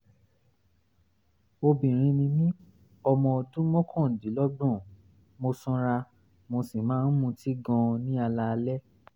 obìnrin ni mí ọmọ ọdún mọ́kàndínlọ́gbọ̀n mo sanra mo sì máa ń mutí gan-an ní alaalẹ́